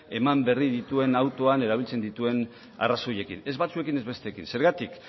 eman berri duen autoan erabiltzen dituen arrazoiekin ez batzuekin ez besteekin zergatik